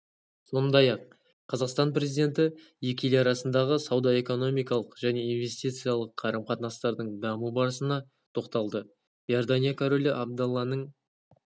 сондай-ақ қазақстан президенті екі ел арасындағы сауда-экономикалық және инвестициялық қарым-қатынастардың даму барысына тоқталды иордания королі абдалланың